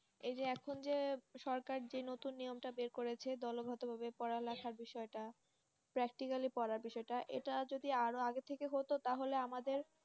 এই যে এখন যে সরকার যে নতুন নিয়মটা বের করেছে দলবদ্ধভাবে পড়ালেখা বিষয়টা practically পরা বিষয়টা এটা যদি আরো আগে থেকে হত তাহলে আমাদের